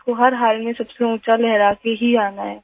इसको हर हाल में सबसे ऊँचा लहरा के ही आना है